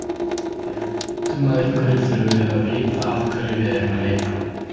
Þegar við leitum að einhverju þurfum við að vita að hverju við erum að leita.